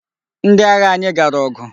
Ndị agha anyị gara ọgụ.